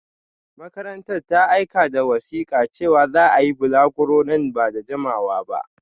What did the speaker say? Makarantar ta aika da wasika cewa za a yi balaguro nan ba da jimawa ba